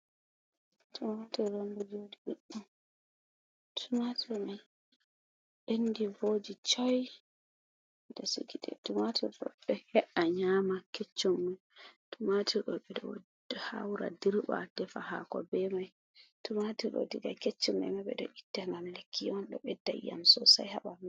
Tumatur on ɗo joɗi ɗuɗɗum. Tumatur mai ɓendi vooji choi. Tumatur mai ɗo he’a nyama keccum mai. Tumatur ɗo ɓeɗo haura dirba defa hako be mai. Tumatur ɗo diga keccum mai ɓeɗo itta ngam lekki on. Ɗo ɓedda iyam sosai ha ɓandu.